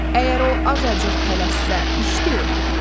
Əgər o azacıq tələssə iş, de!